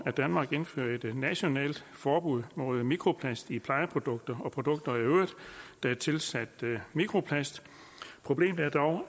at danmark indfører et nationalt forbud mod mikroplast i plejeprodukter og produkter i øvrigt der er tilsat mikroplast problemet